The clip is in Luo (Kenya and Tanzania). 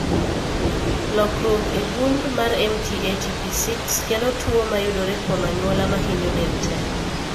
Lokruok e gund mar MT ATP6 kelo tuwo mayudore kuom anyuola mahinyo del tee.